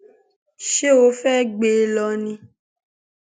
ṣé ó fẹẹ gbé e lọ ni